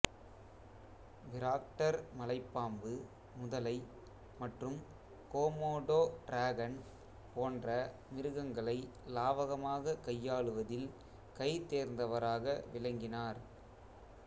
பிராக்டா் மலைப்பாம்பு முதலை மற்றும் கோமோடோ டிராகன் போன்ற மிருகங்களை லாவகமாகக் கையாளுவதில் கைதோ்ந்தவராக விளங்கினாா்